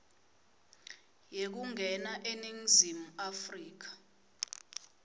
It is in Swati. yekungena eningizimu afrika